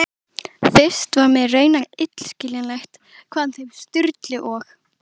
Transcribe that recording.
Fyrst var mér raunar illskiljanlegt hvaðan þeim Sturlu og